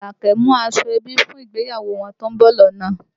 Àlàkẹ́ mú aṣọ ẹbí fún ìgbéyàwó wọn tó ń bọ̀ lọ́nà